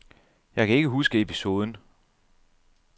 Jeg kan ikke huske episoden.